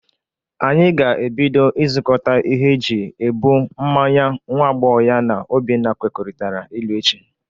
Anyị ga-ebido ịzụkọta ihe e ji ebụ mmanya nwa agbọghọ ya na Obinna kwekọrịtara ịlụ, echi.